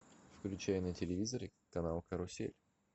включай на телевизоре канал карусель